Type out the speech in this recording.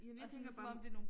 Jamen jeg tænker sådan noget